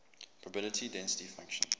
probability density function